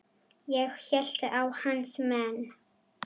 Ég hélt að hans menn.